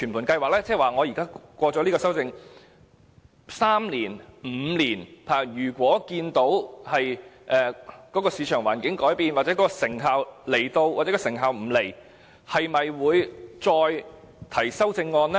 即在通過修正案3年、5年後如果看到市場環境改變、看到有成效或成效不彰，又會否再次提出修正案呢？